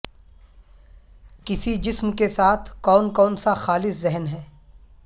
کسی جسم کے ساتھ کون کون سا خالص ذہن ہے